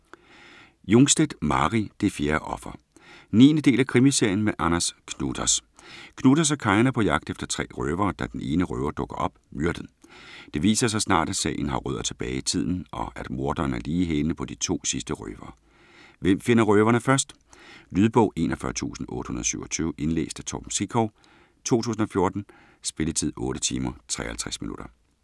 Jungstedt, Mari: Det fjerde offer 9. del af krimiserien med Anders Knutas. Knutas og Karin er på jagt efter tre røvere, da den ene røver dukker op, myrdet. Det viser sig snart, at sagen har rødder tilbage i tiden og at morderen er lige i hælene på de to sidste røvere. Hvem finder røverne først? Lydbog 41827 Indlæst af Torben Sekov, 2014. Spilletid: 8 timer, 53 minutter.